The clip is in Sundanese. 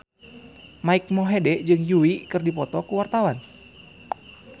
Mike Mohede jeung Yui keur dipoto ku wartawan